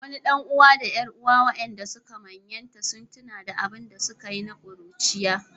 Wani ɗan’uwa da ƴar’uwa, waɗanda yanzu suka manyanta, sun tuna da abin da suka yi na ƙuruciya.